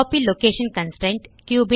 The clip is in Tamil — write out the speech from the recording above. copy location constraint